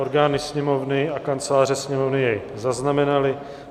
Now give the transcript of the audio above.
Orgány Sněmovny a Kanceláře Sněmovny jej zaznamenaly.